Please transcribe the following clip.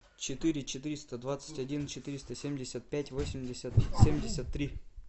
четыре четыреста двадцать один четыреста семьдесят пять восемьдесят семьдесят три